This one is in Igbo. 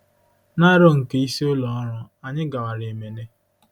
Na aro nke isi ụlọ ọrụ, anyị gawara Emene